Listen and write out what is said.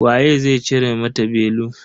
Waye zai cire mata belu.